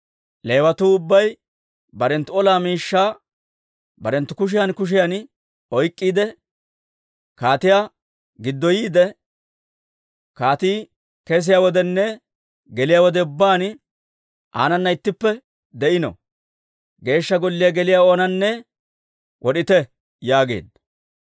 «Leewatuu ubbay barenttu ola miishshaa barenttu kushiyan kushiyan oyk'k'iide, kaatiyaa giddoyiide, kaatii kesiyaa wodenne geliyaa wode ubbaan aanana ittippe de'ino. Geeshsha Golliyaa geliyaa oonanne wod'ite» yaageedda.